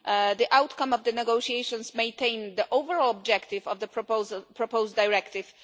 The outcome of the negotiations maintains the overall objective of the proposed directive.